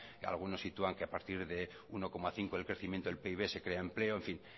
algunos sitúan que a partir de uno coma cinco del crecimiento del pib se crean empleo en fin